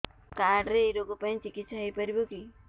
card ରେ ଏଇ ରୋଗ ପାଇଁ ଚିକିତ୍ସା ହେଇପାରିବ କି